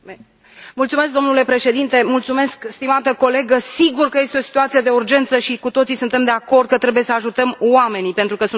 Domnule președinte, stimată colegă, sigur că este o situație de urgență și cu toții suntem de acord că trebuie să ajutăm oamenii, pentru că suntem oameni.